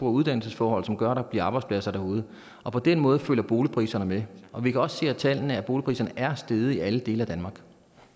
og uddannelsesforhold som gør at der bliver arbejdspladser derude og på den måde følger boligpriserne med og vi kan også se af tallene at boligpriserne er steget i alle dele af danmark